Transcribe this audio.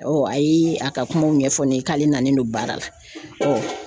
a ye a ka kumaw ɲɛfɔ ne ye k'ale nalen do baara la